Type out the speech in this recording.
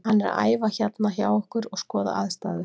Hann er að æfa hérna hjá okkur og skoða aðstæður.